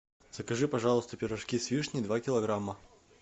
закажи пожалуйста пирожки с вишней два килограмма